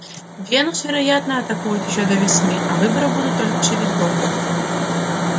венус вероятно атакует ещё до весны а выборы будут только через год